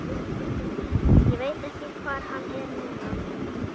Ég veit ekki hvar hann er núna.